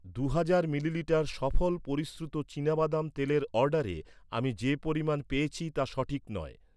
দু'হাজার মিলিলিটার সফল পরিশ্রুত চিনাবাদাম তেলের অর্ডারে আমি যে পরিমাণ পেয়েছি তা সঠিক নয়।